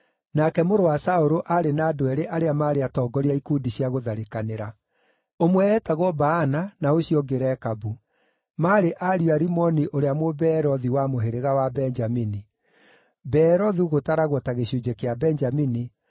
Nake mũrũ wa Saũlũ aarĩ na andũ eerĩ arĩa maarĩ atongoria a ikundi cia gũtharĩkanĩra. Ũmwe eetagwo Baana na ũcio ũngĩ Rekabu; maarĩ ariũ a Rimoni ũrĩa Mũbeerothi wa mũhĩrĩga wa Benjamini; Beerothu gũtaragwo ta gĩcunjĩ kĩa Benjamini,